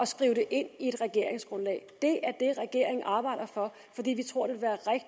skrive det ind i et regeringsgrundlag det er det regeringen arbejder for fordi vi tror at